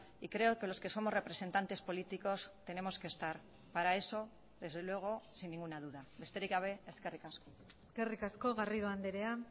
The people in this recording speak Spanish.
y creo que los que somos representantes políticos tenemos que estar para eso desde luego sin ninguna duda besterik gabe eskerrik asko eskerrik asko garrido andrea